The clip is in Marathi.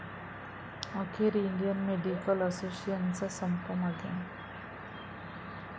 अखेर इंडियन मेडिकल असोसिएशनचा संप मागे